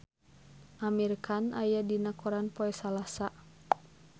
Amir Khan aya dina koran poe Salasa